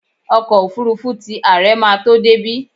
Ọkọ́ òfurufú ti àre ma tó débí.